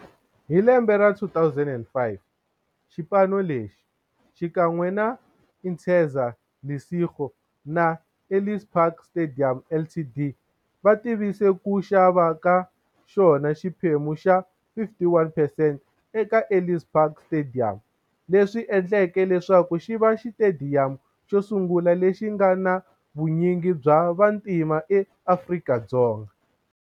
Hi lembe ra 2005, xipano lexi, xikan'we na Interza Lesego na Ellis Park Stadium Ltd, va tivise ku xava ka xona xiphemu xa 51 percent eka Ellis Park Stadium, leswi endleke leswaku xiva xitediyamu xosungula lexi nga na vunyingi bya vantima eAfrika-Dzonga.